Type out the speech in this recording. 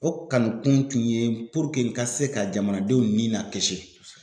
O kanukun ye ka se ka jamanadenw ni lakisi